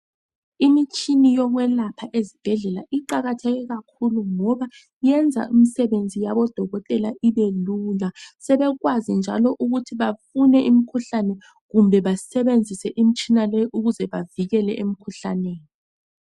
Imitshini yokwelapha esibhedlela iqakatheke kakhulu ngoba iyenza imsebenzi yabodotela ibelula njalo sebekwazi njalo ukuthi bafune imkhuhlane kumbe basebenzise imitshina leyi ukuze bavikeleke emikhuhlaneni.